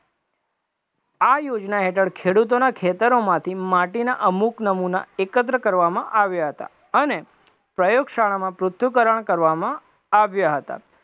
આ યોજના હેઠણ ખેડૂતોના ખેતરોમાંથી માટીના અમુક નમૂના એકત્ર કરવામાં આવ્યા હતા અને પ્રયોગશાળામાં પૃથ્થકરણ કરવામાં આવ્યા હતા.